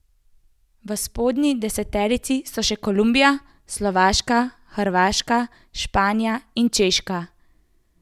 V spodnji deseterici so še Kolumbija, Slovaška, Hrvaška, Španija in Češka.